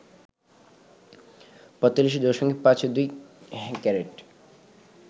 ৪৫.৫২ carat